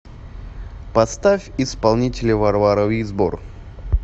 поставь исполнителя варвара визбор